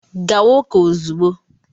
Gawa ụka ozugbo!